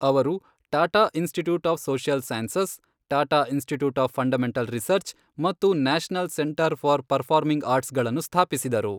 ಅವರು, Tata institute of social sciences, Tata institute of fundamental research ಮತ್ತು national centre for performing arts ಗಳನ್ನು ಸ್ಥಾಪಿಸಿದರು.